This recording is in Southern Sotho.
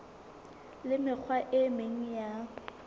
le mekgwa e meng ya